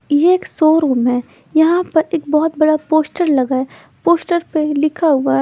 ये शोरूम है यहाँ पर एक बहोत बड़ा पोस्टर लगा हुआ है पोस्टर पर लिखा हुआ है--